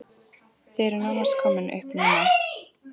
Þið eruð nánast komnir upp núna?